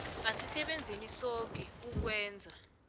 asisebenzeni soke ukwenza